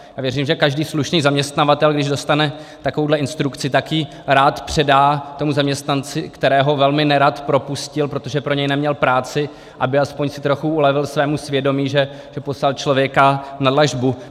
Já věřím, že každý slušný zaměstnavatel, když dostane takovouhle instrukci, tak ji rád předá tomu zaměstnanci, kterého velmi nerad propustil, protože pro něj neměl práci, aby si aspoň trochu ulevil svému svědomí, že poslal člověka na dlažbu.